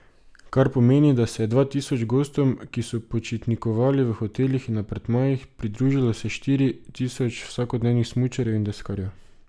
Kar pomeni, da se je dva tisoč gostom, ki so počitnikovali v hotelih in apartmajih, pridružilo še štiri tisoč vsakodnevnih smučarjev in deskarjev.